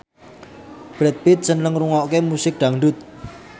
Brad Pitt seneng ngrungokne musik dangdut